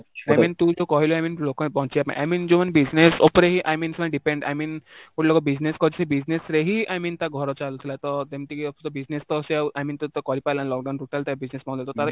I mean ତୁ ହିଁ ତ କହିଲୁ I mean local ବଞ୍ଚିବା ପାଇଁ I mean ଯୋଉ ମାନେ business ଉପରେ ହି I mean depend I mean ଗୋଟେ ଲୋକ business କରିଛି, ସେ business ରେ ହିଁ I mean ତା ଘର ଚାଲୁଥିଲା ତ ଯେମିତି କି ଆଉ ସେ business ତ ସେ ଆଉ I mean କରିପାରିଲାନି lockdown ରେ total ତା business ବନ୍ଦ